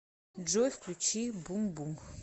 джой включи бумбум